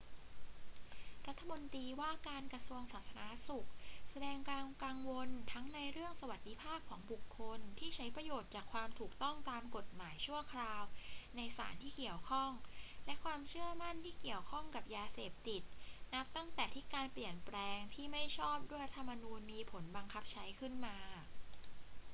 รัฐมนตรีว่าการกระทรวงสาธารณสุขแสดงความกังวลทั้งในเรื่องสวัสดิภาพของบุคคลที่ใช้ประโยชน์จากความถูกต้องตามกฎหมายชั่วคราวในสารที่เกี่ยวข้อง และความเชื่อมั่นที่เกี่ยวข้องกับยาเสพติด นับตั้งแต่ที่การเปลี่ยนแปลงที่ไม่ชอบด้วยรัฐธรรมนูญมีผลบังคับใช้ขึ้นมา